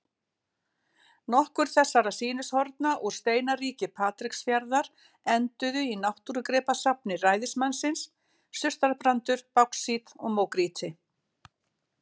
Nokkur þessara sýnishorna úr steinaríki Patreksfjarðar enduðu í náttúrugripasafni ræðismannsins: surtarbrandur, báxít og mógrýti.